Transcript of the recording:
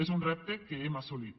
és un repte que hem assolit